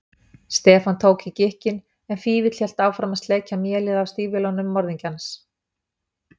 Stefán tók í gikkinn en Fífill hélt áfram að sleikja mélið af stígvélum morðingjans.